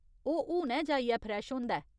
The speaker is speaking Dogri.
ओह् हुनै जाइयै फ्रेश होंदा ऐ।